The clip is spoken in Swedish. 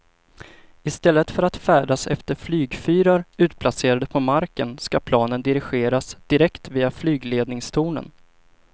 I stället för att färdas efter flygfyrar utplacerade på marken ska planen dirigeras direkt via flygledningstornen.